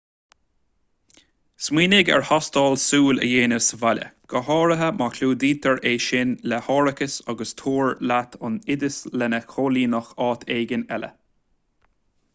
smaoinigh ar thástáil súl a dhéanamh sa bhaile go háirithe má chlúdaítear é sin le hárachas agus tabhair leat an oideas lena chomhlíonadh áit éigin eile